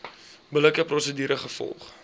billike prosedure gevolg